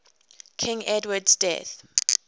king edward's death